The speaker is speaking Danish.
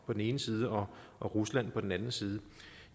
på den ene side og rusland på den anden side